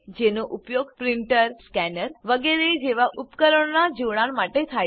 જેનો ઉપયોગ printer scanner વગેરે જેવા ઉપકરણોનાં જોડાણ માટે થાય છે